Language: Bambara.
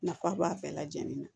Nafa b'a bɛɛ lajɛlen na